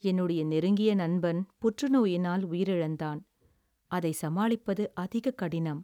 "என்னுடைய நெருங்கிய நண்பன் புற்றுநோயினால் உயிரிழந்தான். அதை சமாளிப்பது அதிகக் கடினம்."